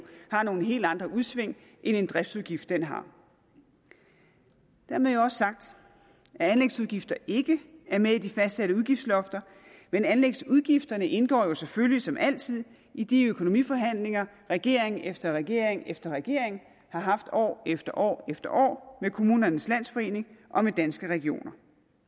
har nogle helt andre udsving end en driftsudgift har dermed også sagt at anlægsudgifter ikke er med i de fastsatte udgiftslofter men anlægsudgifterne indgår jo selvfølgelig som altid i de økonomiforhandlinger regering efter regering efter regering har haft år efter år efter år med kommunernes landsforening og med danske regioner